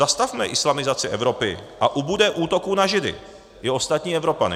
Zastavme islamizaci Evropy, a ubude útoků na Židy i ostatní Evropany.